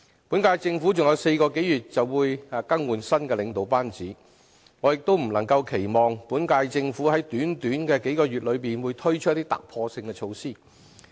本屆政府還有4個多月便會更換新的領導班子，我亦不能期望本屆政府在短短數個月內推出一些突破性的措施。